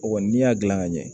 O kɔni n'i y'a dilan ka ɲɛ